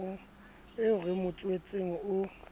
eo re mo tswetseng o